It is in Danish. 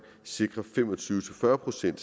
sikre fem og tyve til fyrre procent